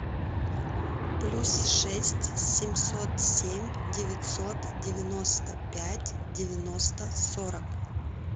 плюс шесть семьсот семь девятьсот девяносто пять девяносто сорок